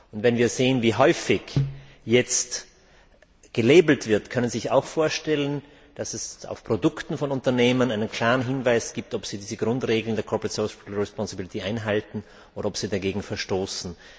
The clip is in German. Und wenn wir sehen, wie häufig jetzt gekennzeichnet wird, können Sie sich auch vorstellen, dass es auf Produkten von Unternehmen einen klaren Hinweis darauf gibt, ob sie diese Grundregeln der einhalten oder ob sie dagegen verstoßen?